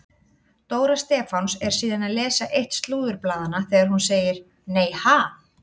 Dóra Stefáns er síðan að lesa eitt slúðurblaðanna þegar hún segir: Nei ha?